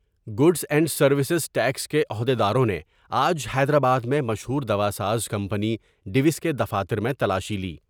Goods and service tax کے عہد یداروں نے آج حیدرآباد میں مشہور دواساز کمپنی ڈیوس کے دفاتر میں تلاشی لی ۔